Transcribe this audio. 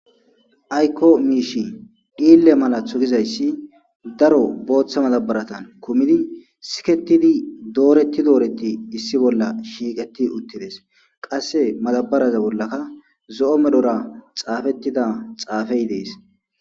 Ayko miishshi dhiille malatho gizayssi daro booththa madabaratan kummidi siketidi dooretti dooretti issi bolla shiiqetti uuttides qasse madabaraza bollaka zo'o medhora xaafettida xaafey dees